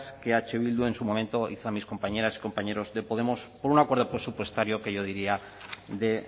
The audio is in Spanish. que eh bildu en su momento hizo a mis compañeras y compañeros de podemos por un acuerdo presupuestario que yo diría de